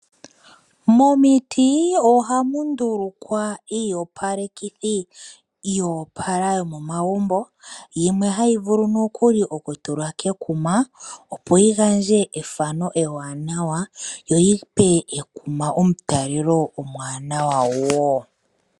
Momiti oahmu ndulukwa iiyopalekithi yoopala yomomagumbo yimwe hayi vulu okutulwa kekuma yo yi gandje ethano ewanawa noshowo omutalelo omuwanawa.